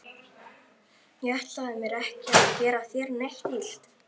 Ég ætlaði mér ekki að gera þér neitt illt.